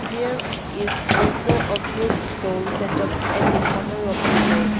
There is also a fruit stall set up at the corner of the road.